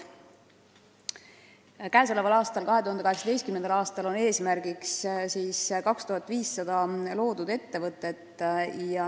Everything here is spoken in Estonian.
Käesoleval, 2018. aastal on eesmärgiks seatud 2500 loodud ettevõtet.